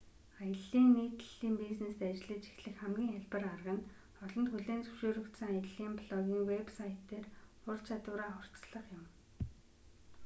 аяллын нийтлэлийн бизнест ажиллаж эхлэх хамгийн хялбар арга нь олонд хүлээн зөвшөөрөгдсөн аяллын блогын вэб сайт дээр ур чадвараа хурцлах юм